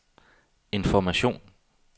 information